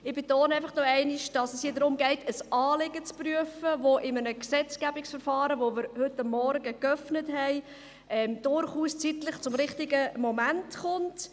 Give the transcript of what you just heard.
Ich betone einfach noch einmal, dass es hier darum geht, ein Anliegen zu prüfen, das mit dem Gesetzgebungsverfahren, das wir heute Morgen eröffnet haben, zeitlich durchaus im richtigen Moment kommt.